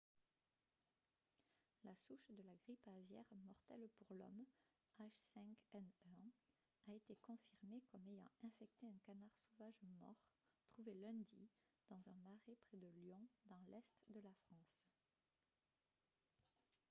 la souche de la grippe aviaire mortelle pour l'homme h5n1 a été confirmée comme ayant infecté un canard sauvage mort trouvé lundi dans un marais près de lyon dans l'est de la france